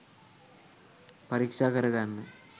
පරික්ෂා කරගන්න